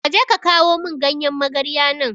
Kaje ka kawo mun ganyan magarya nan